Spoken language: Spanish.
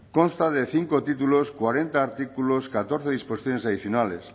consta de cinco títulos cuarenta artículos catorce disposiciones adicionales